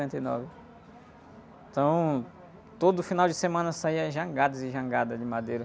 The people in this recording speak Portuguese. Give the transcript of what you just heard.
e nove. Então, todo final de semana saía jangadas e jangadas de madeira.